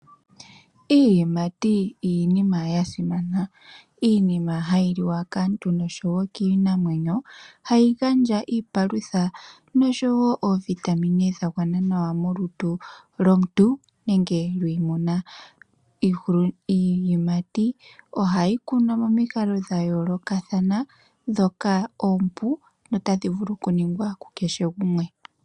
Iiyimati iinima ya simana, iinima hayi liwa kaantu nosho wo kiinamwenyo hayi gandja iipalutha nosho wo oovitamine dha gwana nawa molutu lwomuntu nenge lwiimuna. Iiyimati ohayi kunwa momikalo dha yoolokathana, ndhoka oompu nota dhi vulu ku ningwa ku kehe gumwe.